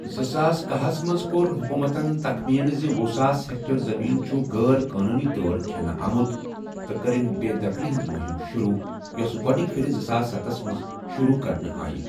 زٕساس کہہَ ہس منٛز، كور حُکوٗمتن تخمِیہٕ زِ ۄہُ ساس ہیکٹر زٔمیٖن چھٗ غٲر قونوٗنی طور کھٮ۪نہٕ آمُت تہٕ كٕرٕن بےٚ دخلی ہٕنٛز مُہِم شروٗع، یۄسہٕ گۄڑنِكہِ پھِرِ زٕساس ستَس منٛز شروٗع کرنہٕ آیہِ ۔